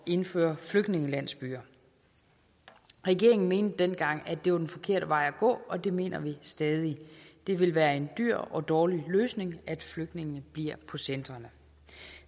indføre flygtningelandsbyer regeringen mente dengang at det var den forkerte vej at gå og det mener vi stadig det vil være en dyr og dårlig løsning at flygtningene bliver på centrene